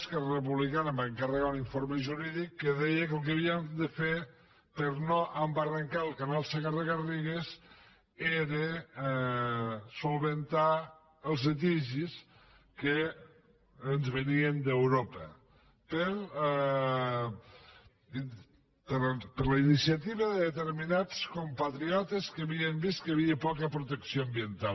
esquerra republicana va encarregar un informe jurídic que deia que el que havíem de fer per no embarrancar el canal segarra garrigues era resoldre els litigis que ens venien d’europa per la iniciativa de determinats compatriotes que havien vist que hi havia poca protecció ambiental